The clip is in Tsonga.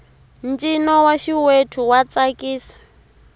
ncino wa xiwethu wa tsakisa